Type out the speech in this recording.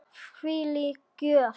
Þvílík gjöf.